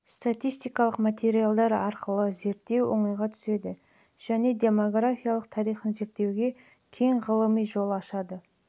бойынша статистикалық материалдар арқылы зерттеу оңайға түседі және демографиялық тарихын зерделеуге кең ғылыми жол ашады